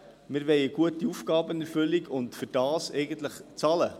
Wir wollen eine gute Aufgabenerfüllung und dafür zahlen.